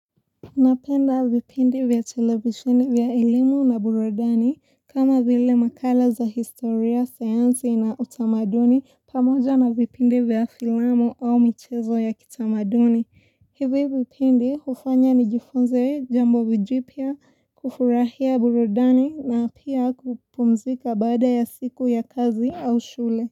Napenda vipindi vya televisheni vya elimu na burudani kama vile makala za historia, sayansi na utamaduni pamoja na vipindi vya filamu au michezo ya kitamaduni. Hivi vipindi hufanya nijifunze jambo vijipia kufurahia burudani na pia kupumzika bada ya siku ya kazi au shule.